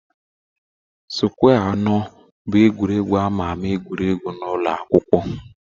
Sụkwẹ́ anọ bụ egwuregwu a ma ama egwuru n'ụlọ akwụkwọ.